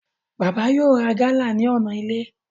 Bàbá yóò ra gálà ní ọ̀nà ilé